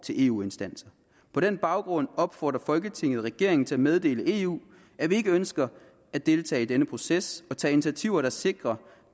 til eu instanser på den baggrund opfordrer folketinget regeringen til at meddele eu at vi ikke ønsker at deltage i denne proces og tage initiativer der kan sikre